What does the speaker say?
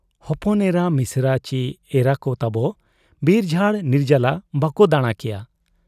ᱦᱚᱯᱚᱱ ᱮᱨᱟ, ᱢᱤᱥᱮᱨᱟ ᱪᱤ ᱮᱨᱟᱠᱚ ᱛᱟᱵᱚ ᱵᱤᱨᱡᱷᱟᱲ ᱱᱤᱨᱡᱟᱞᱟ ᱵᱟᱠᱚ ᱫᱟᱬᱟ ᱠᱮᱭᱟ ᱾